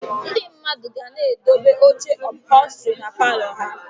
Ndị mmadụ ga na-edobe oche ụphọlstri na palọ ha